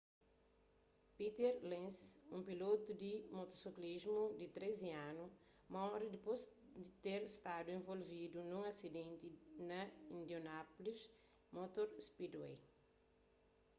peter lenz un pilotu di motosiklismu di 13 anu móre dipôs di ter stadu involvidu nun asidenti na indianapolis motor speedway